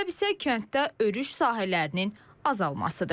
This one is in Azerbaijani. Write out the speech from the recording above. Səbəb isə kənddə örüş sahələrinin azalmasıdır.